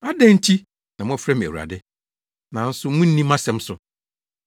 “Adɛn nti na mofrɛ me ‘Awurade,’ nanso munni mʼasɛm so?